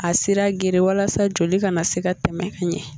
A sira geren walasa joli ka na se ka tɛmɛ ka ɲɛ